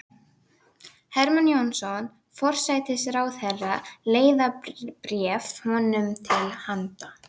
Hermann Jónasson forsætisráðherra leiðarbréf honum til handa.